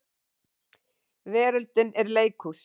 Veröldin er leikhús.